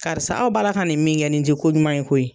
Karisa aw b'a la ka nin min kɛ, nin tɛ koɲuman ye koyi!